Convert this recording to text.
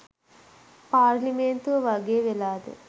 පාර්ලිමේන්තුව වගේ වෙලාද?